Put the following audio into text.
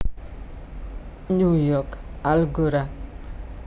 New York Algora